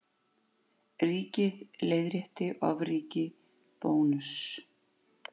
Ríkið leiðrétti ofríki Bónuss